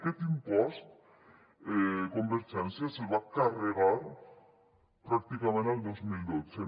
aquest impost convergència se’l va carregar pràcticament el dos mil dotze